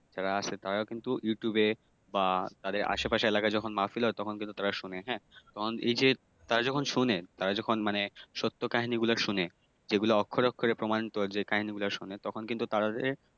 আসে তারা ও কিন্তু তাদের ইউটিউবে বা তাদের আশেপাশের এলাকায় যখন মাহফিল হয় তখন কিন্তু তারা শুনে হ্যাঁ তখন এইযে তারা যখন শুনে তারা যখন মানে সত্য কাহানিগুলো শুনে যেগুলা অক্ষরে অক্ষরে প্রমাণিত যে হ্যাঁ কাহিনিগুলা শুনে তখন কিন্তু তারা